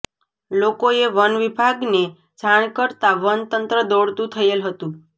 લોકોએ વન વિભાગને જાણ કરતા વન તંત્ર દોડતું થયેલ હતુ